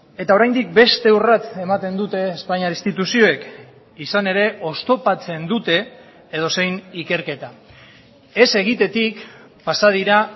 eta oraindik beste urrats ematen dute espainiar instituzioek izan ere oztopatzen dute edozein ikerketa ez egitetik pasa dira